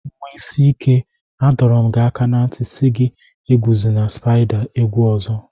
Nwa isi ike, A dọrọ m gi aka na nti si gị eguzina spaida egwu ọzọ.